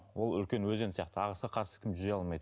ол үлкен өзен сияқты ағысқа қарсы кім жүзе алмайды